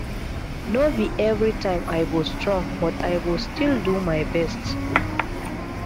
no be every time i go strong but i go still do my best